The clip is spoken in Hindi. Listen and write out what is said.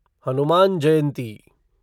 हनुमान जयंती